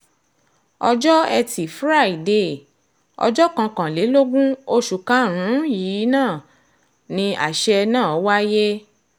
ọjọ́ etí furcabee ọjọ́ kọkànlélógún oṣù karùn-ún yìí ni àṣẹ náà wáyé